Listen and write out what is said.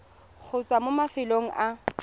go tswa mo mafelong a